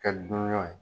Kɛ dunanw ye